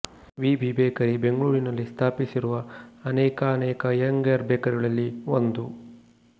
V B bakery ಬೆಂಗಳೂರಿನಲ್ಲಿ ಸ್ಥಾಪಿಸಿರುವ ಅನೇಕಾನೇಕಅಯ್ಯಂಗಾರ್ ಬೇಕರಿಗಳಲ್ಲಿ ಒಂದು